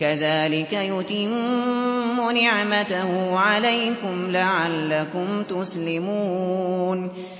كَذَٰلِكَ يُتِمُّ نِعْمَتَهُ عَلَيْكُمْ لَعَلَّكُمْ تُسْلِمُونَ